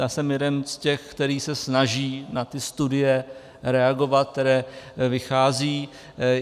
Já jsem jeden z těch, který se snaží na ty studie reagovat, které vychází.